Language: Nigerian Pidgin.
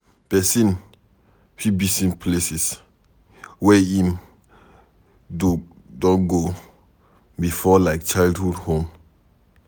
Person fit visit places where im do go before like childhood home